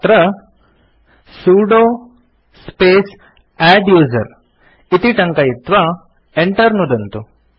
अत्र sudo space adduser इति टङ्कयित्वा Enter नुदन्तु